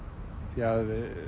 því